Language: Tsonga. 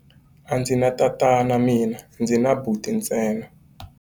A ndzi na tati mina, ndzi na buti ntsena.